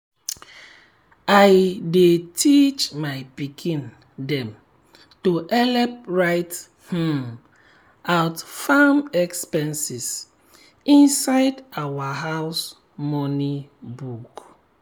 i dey teach my pikin dem to help write um out farm expenses inside our house money book.